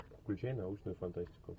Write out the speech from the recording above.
включай научную фантастику